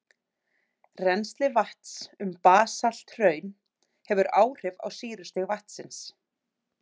Rennsli vatns um basalthraun hefur áhrif á sýrustig vatnsins.